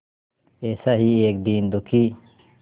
ऐसा ही एक दीन दुखी